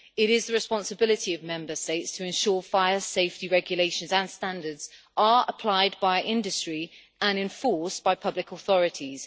It is the responsibility of Member States to ensure fire safety regulations and standards are applied by industry and enforced by public authorities.